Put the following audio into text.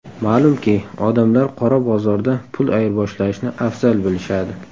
Ma’lumki, odamlar qora bozorda pul ayirboshlashni afzal bilishadi.